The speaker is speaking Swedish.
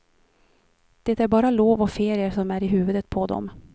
Det är bara lov och ferier som är i huvudet på dom.